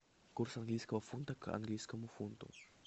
курс английского фунта к английскому фунту